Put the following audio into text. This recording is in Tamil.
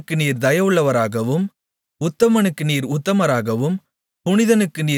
தயவுள்ளவனுக்கு நீர் தயவுள்ளவராகவும் உத்தமனுக்கு நீர் உத்தமராகவும்